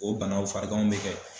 O banaw fariganw bɛ kɛ